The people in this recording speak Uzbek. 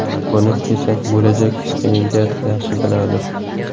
Buni esa bo‘lajak stipendiat yaxshi biladi.